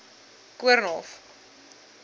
koornhof